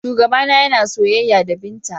Shugabana yana soyayya da Binta.